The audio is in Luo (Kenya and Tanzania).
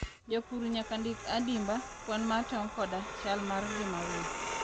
Jopur nyaka ndik adimba kwan mar tong' koda chal mar ngima winy.